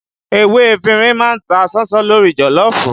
Ewé efinrin má ń ta ṣánṣán lórí joloofu